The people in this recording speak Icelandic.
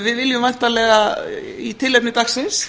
við viljum væntanlega í tilefni dagsins